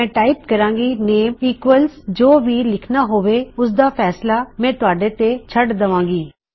ਮੈਂ ਟਾਇਪ ਕਰਾਂਗੀ name equals - ਜੋ ਵੀ ਲਿੱਖਨਾ ਹੋਵੇ ਓਸਦਾ ਫੈਂਸਲਾ ਮੈਂ ਤੁਹਾਡੇ ਤੇ ਛੱਡ ਦਵਾਂਗੀ